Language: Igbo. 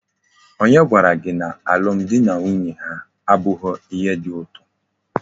Onye gwara gi na alum di na nwunye abughi ihe di uto?